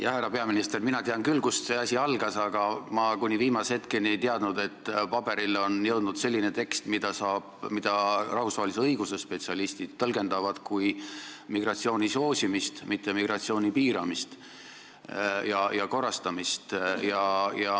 Jah, härra peaminister, mina tean küll, kust see asi algas, aga ma kuni viimase hetkeni ei teadnud, et paberile on jõudnud selline tekst, mida rahvusvahelise õiguse spetsialistid tõlgendavad kui migratsiooni soosimist, mitte migratsiooni piiramist ja korrastamist.